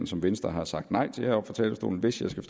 som venstre har sagt nej til heroppe fra talerstolen hvis jeg skal